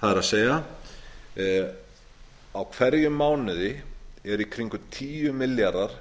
það er að í hverjum mánuði eru í kringum tíu milljarðar